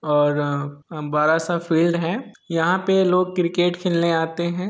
और बड़ा सा फील्ड है यहाँ पे लोग क्रिकेट खेलने आते है।